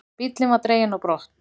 Bíllinn var dreginn á brott.